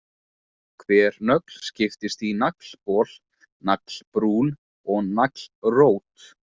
Hver nögl skiptist í naglbol, naglbrún og naglrót.